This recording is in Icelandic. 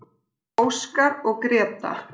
Óskar og Gréta.